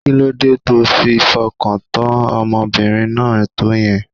Kí ló dé to fi fọkàntán ọmọbìnrin náà tó yẹn?